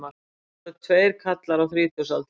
Þetta voru tveir karlar á þrítugsaldri